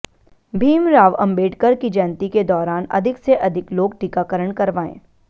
भीमराव आम्बेडकर की जयंती के दौरान अधिक से अधिक लोग टीकाकरण कराएं